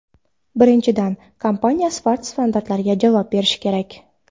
Birinchidan, kompaniya sifat standartlariga javob berishi kerak.